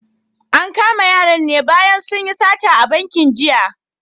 An kama yaran ne bayan sun yi sata a bankin jiya.